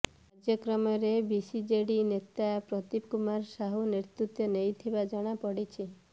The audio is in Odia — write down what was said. କାର୍ଯ୍ୟକ୍ରମରେ ବିସିଜେଡି ନେତା ପ୍ରଦୀପ କୁମାର ସାହୁ ନେତୃତ୍ୱ ନେଇଥିବା ଜଣାପଡିଛି